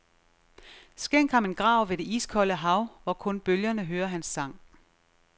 Skænk ham en grav ved det iskolde hav, hvor kun bølgerne hører hans sang.